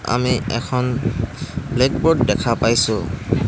আমি এখন ব্লেকব'ৰ্ড দেখা পাইছোঁ।